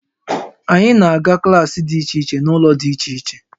Anyị na-aga klaasị dị iche iche n'ụlọ dị iche iche